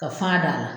Ka fa d'a la